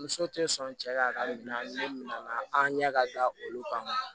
Muso tɛ sɔn cɛ ka bila ni ne nana an ɲɛ ka da olu kan